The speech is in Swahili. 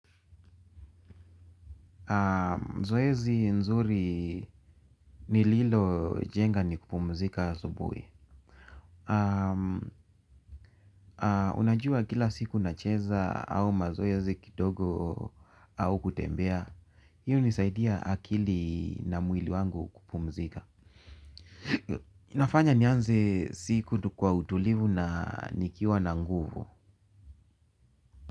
Zoezi nzuri nililojenga ni kupumzika asubuhi. Unajua kila siku nacheza au mazoezi kidogo au kutembea. Hii hunisaidia akili na mwili wangu kupumzika. Inafanya nianze siku kwa utulivu na nikiwa na nguvu.